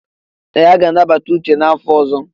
Ee! A ga-anabata Uche n'afọ ọzọ.